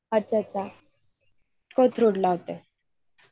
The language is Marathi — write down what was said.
अच्छा अच्छा कोथरूडला